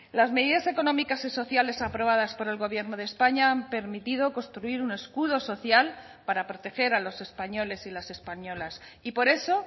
las medidas económicas y sociales aprobadas por el gobierno de españa han permitido construir un escudo social para proteger a los españoles y las españolas y por eso